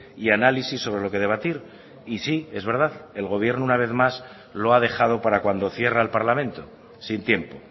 y análisis sobre lo que debatir y sí es verdad el gobierno una vez más lo ha dejado para cuando cierra el parlamento sin tiempo